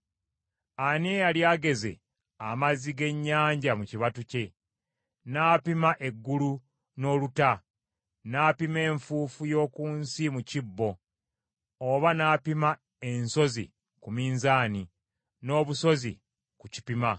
Ani eyali ageze amazzi g’ennyanja mu kibatu kye, n’apima eggulu n’oluta, n’apima enfuufu y’oku nsi mu kibbo, oba n’apima ensozi ku minzaani, n’obusozi ku kipima?